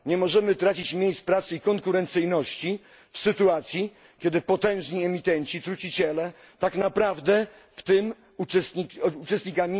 Nie możemy tracić miejsc pracy i konkurencyjności w sytuacji, kiedy potężni emitenci truciciele tak naprawdę w tym procesie nie uczestniczą.